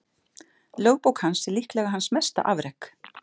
Lögbók hans er líklega hans mesta afrek.